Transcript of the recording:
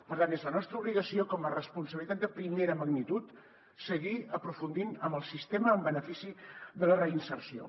per tant és la nostra obligació com a responsabilitat de primera magnitud seguir aprofundint en el sistema en benefici de la reinserció